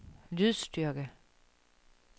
lydstyrke